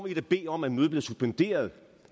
i da bede om at mødet bliver suspenderet og